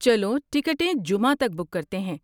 چلو ٹکٹیں جمعہ تک بک کرتے ہیں؟